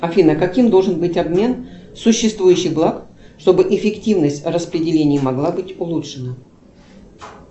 афина каким должен быть обмен существующих благ чтобы эффективность распределения могла быть улучшена